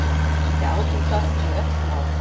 Við átum það í öll mál.